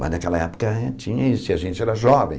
Mas naquela época tinha isso, e a gente era jovem.